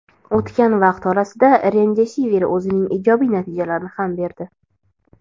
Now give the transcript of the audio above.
O‘tgan vaqt orasida "Remdesivir" o‘zining ijobiy natijalarini ham berdi.